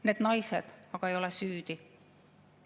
Need naised aga ei ole süüdi.